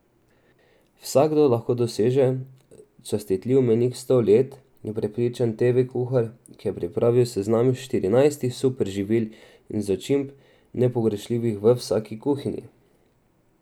Vsakdo lahko doseže častitljiv mejnik sto let, je prepričan teve kuhar, ki je pripravil seznam štirinajstih super živil in začimb, nepogrešljivih v vsaki kuhinji.